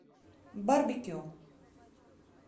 барбекю